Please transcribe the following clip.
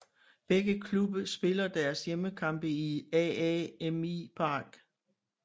Begge klubber spiller deres hjemmekampe i AAMI Park